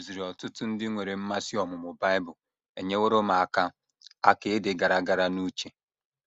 Iduziri ọtụtụ ndị nwere mmasị ọmụmụ Bible enyeworo m aka aka ịdị gara gara n’uche.